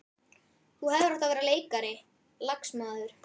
Þú hefðir átt að verða leikari, lagsmaður.